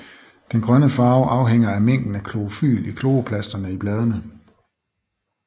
Den grønne farve afhænger af mængden af klorofyl i kloroplasterne i bladene